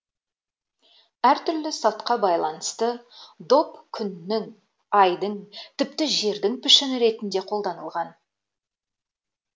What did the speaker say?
әртүрлі салтқа байланысты доп күннің айдың тіпті жердің пішіні ретінде қолданылған